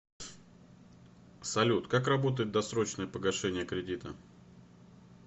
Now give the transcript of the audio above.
салют как работает досрочное погашение кредита